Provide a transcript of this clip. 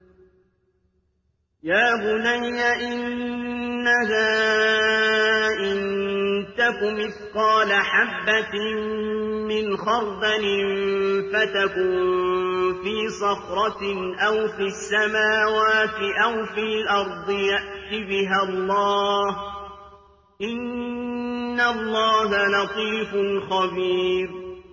يَا بُنَيَّ إِنَّهَا إِن تَكُ مِثْقَالَ حَبَّةٍ مِّنْ خَرْدَلٍ فَتَكُن فِي صَخْرَةٍ أَوْ فِي السَّمَاوَاتِ أَوْ فِي الْأَرْضِ يَأْتِ بِهَا اللَّهُ ۚ إِنَّ اللَّهَ لَطِيفٌ خَبِيرٌ